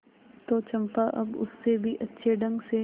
तो चंपा अब उससे भी अच्छे ढंग से